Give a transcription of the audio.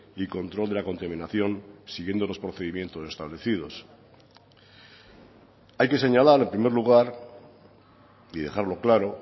y control de la contaminación siguiendo los procedimientos establecidos hay que señalar en primer lugar y dejarlo claro